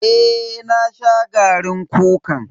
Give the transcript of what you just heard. Eh na sha garin kukan.